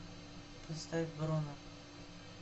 поставь бруно